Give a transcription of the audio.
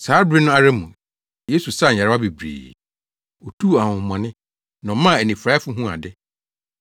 Saa bere no ara mu, Yesu saa nyarewa bebree; otuu ahonhommɔne na ɔmaa anifuraefo huu ade.